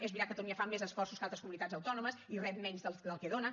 és veritat catalunya fa més esforços que altres comunitats autònomes i rep menys del que dona